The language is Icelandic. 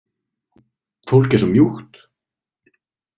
Fólk er svo mjúkt.